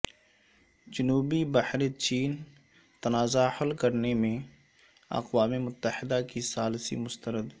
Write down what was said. جنوبی بحر چین تنازعہ حل کرنے میں اقوام متحدہ کی ثالثی مسترد